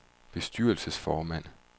bestyrelsesformand